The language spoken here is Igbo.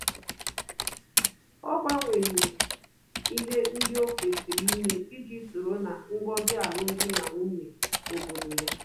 Ọ gbanwere ihe ndị o kwesịrị ime iji soro ná ngọzi alum dị na nwunye obodo ya